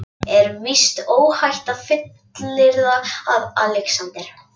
Er víst óhætt að fullyrða, að Alexander